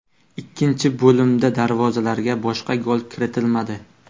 Ikkinchi bo‘limda darvozalarga boshqa gol kiritilmadi.